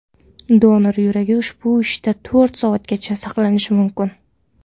Donor yuragi ushbu idishda to‘rt soatgacha saqlanishi mumkin.